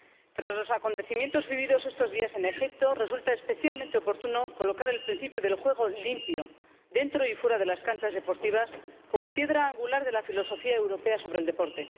Tras los acontecimientos vividos estos días en Egipto, resulta especialmente oportuno colocar el principio del juego limpio, dentro y fuera de las canchas deportivas, como piedra angular de la filosofía europea sobre el deporte.